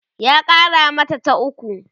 ya Kara mata ta ukwu